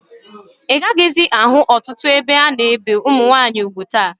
Ị gaghịzị ahụ ọtụtụ ebe a na-ebe nwaanyị ugwu taa